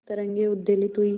तरंगे उद्वेलित हुई